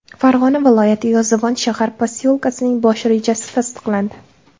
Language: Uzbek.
Farg‘ona viloyati Yozyovon shahar posyolkasining bosh rejasi tasdiqlandi.